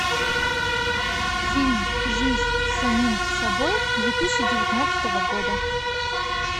фильм жизнь с самим собой две тысячи девятнадцатого года